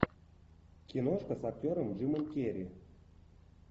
киношка с актером джимом керри